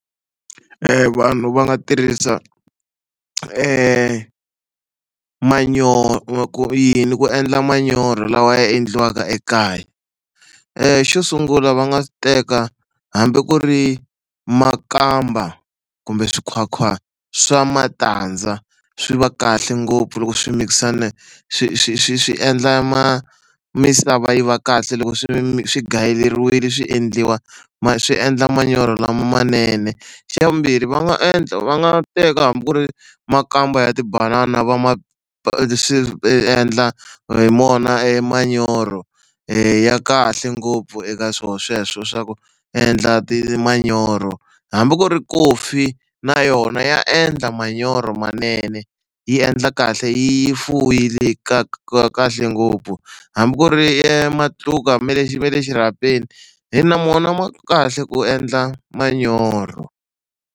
Vanhu va nga tirhisa manyoro ku yini ku endla manyoro lawa ya endliwaka ekaya. Xo sungula va nga teka hambi ku ri makamba kumbe swi nkhwankhwa swa matandza swi va kahle ngopfu loko swi mikisana swi swi swi swi endla ma misava yi va kahle loko swi mi swi gayeleriwile swi endliwa ma swi endla manyoro lama manene. Xa vumbirhi va nga endla va nga teka hambi ku ri makamba ya tibanana va ma endla mona e manyoro ya kahle ngopfu eka swona sweswo swa ku endla ti manyoro hambi ku ri kofi na yona ya endla manyoro manene yi endla kahle yi fuyile ka kahle ngopfu hambi ku ri matluka me lexi me le exirhapeni hi na mona ma kahle ku endla manyoro.